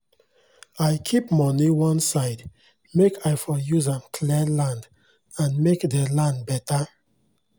afta i buy anoda plot of land naso i begin dey big my farm make e big